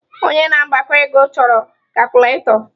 Onye na-agbakọ ego chọrọ kacụlatọ.